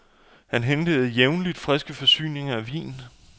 Han hentede jævnligt friske forsyninger af vin.